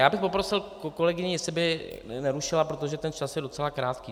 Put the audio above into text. Já bych prosil kolegyni, jestli by nerušila, protože ten čas je docela krátký.